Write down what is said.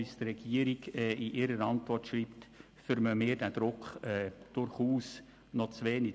Und diesen Druck spüren wir aus der Regierungsantwort noch zu wenig.